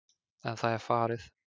En það er farið.